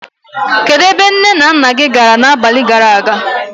Kedụ ebe nné na nnà gị gàrà n'abalị gàrà aga?